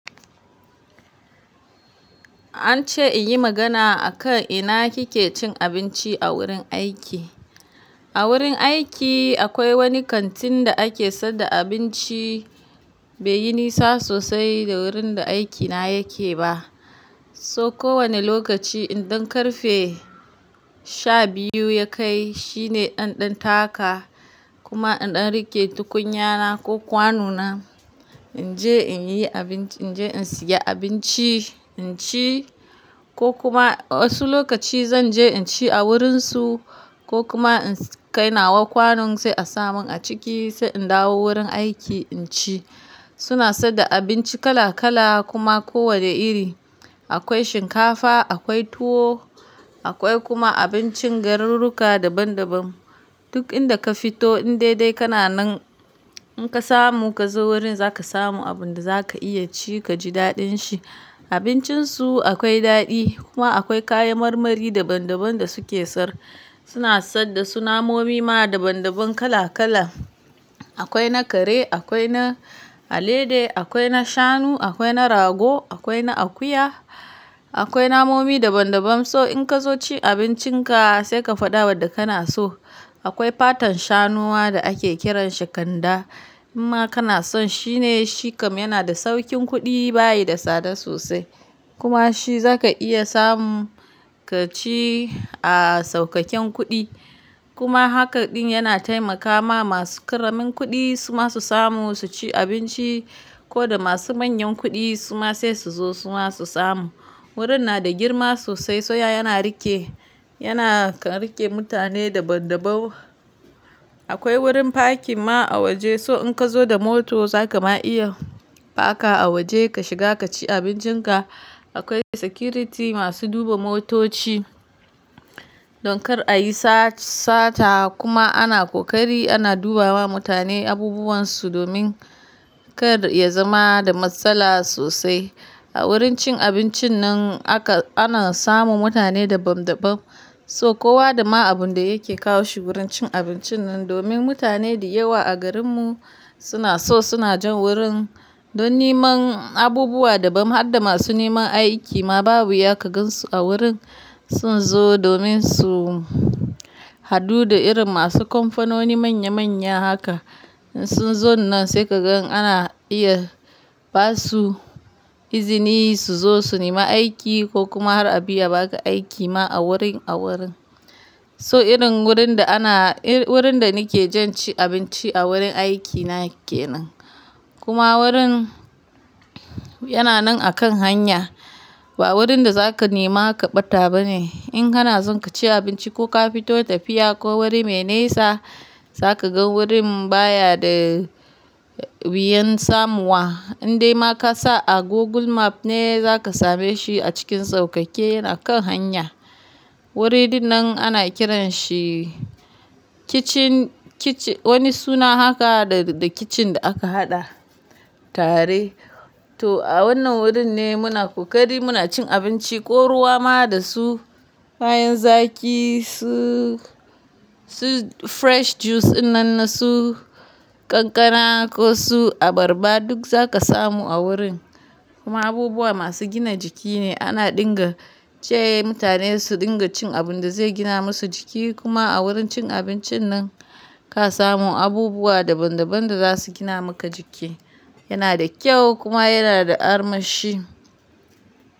An ce in yi magana a kan ina kike cin abinci a wurin aiki. A wurin aiki akwai wani kantin da ake saida abinci, bai yi nisa sosai da wurin da aikina yake ba. So kowane lokaci idan ƙarfe sha biyu ya kai shine ɗan ɗan taka kuma in ɗan riƙe tukunyana ko kwanona, in je in yi abinci, in je in siya abinci, in ci ko kuma wasu lokaci zan je in ci a wurinsu ko kuma in kai nawa kwanon sai a samun a ciki sai in dawo wurin aiki in ci. Suna saida abinci kala kala kuma kowne iri. Akwai shinkafa, akwai tuwo, akwai kuma abincin garuruka daban daban. Duk inda ka fito in dai dai kana nan in ka samu ka zo wurin zaka samu abun da zaka iya ci kaji daɗin shi. Abincin su akwai daɗi kuma akwai kayan marmari daban daban da suke sar. Suna saida su namomi ma daban daban kala kala. Akwai na kare, akwai na alade, akwai na shanu, akwai na rago, akwai na akuya, akwai namomi daban daban. So in ka zo ci abincinka sai ka faɗa wadda kana so. Akwai fatan shanuwa da ake kiran shi ganda. In ma kana son shi ne shikam yana da saukin kuɗi bayi da tsada sosai. Kuma shi zaka iya samu ka ci a saukaken kuɗi. Kuma hakan ɗin yana taimakawa masu ƙaramin kuɗi su ma su samu su ci abinci ko da masu manyan kuɗi su ma sai su zo su ma su samu. Wurin na da girma sosai soya yana riƙe, yana kan riƙe mutane daban daban. Akwai wurin parking ma a waje. So in ka zo da mota za ka ma iya parker a waje ka shiga ka ci abincinka. Akwai security masu duba motoci. Don kar a yi sata kuma ana ƙoƙari ana duba wa mutane abubuwan su domin kar ya zama da matsala sosai. A wurin cin abincin nan aka-- ana samu mutane daban daban. So kowa da ma abun da yake kawo shi wurin cin abincin nan domin mutane da yawa a garin mu suna so suna jan wurin don neman abubuwa daban har da masu neman aiki ma babu ya ka gansu a wurin. Sun zo domin su hadu da irin masu kamfanoni manya manya haka. In sun zo nan sai ka gan ana iya ba su izini su zo su nemi aiki ko kuma har a iya baka aiki ma a wuri a wurin. So irin wurin da ana-- wurin da nake jan ci abinci a wurin aiki na kenan. Kuma wurin yana nan akan hanya. Ba wurin da zaka nema ka ɓata ba ne. In kana son ka ci abinci ko ka fito tafiya ko wuri me nesa, zaka ga wurin baya da wuyan samu wa. Inde ma ka sa a Google Map ne zaka same shi a cikin sauƙaƙe yana kan hanya. Wuri ɗin nan ana kiran shi Kitchen Kitch wani suna haka da da kitchen da aka haɗa tare. To a wannan wurin ne muna ƙoƙari muna cin abinci ko ruwa ma da su, kayan zaƙi su su fresh juice ɗin nan na su kankana ko su abarba duk zaka samu a wurin. Kuma abubuwa masu gina jiki ne ana dunga ce mutane su dunga cin abun da zai gina masu jiki kuma a wurin cin abincin nan ka samu abubuwa daban daban da za su gina maka jiki. Yana da kyau kuma yana da armashi.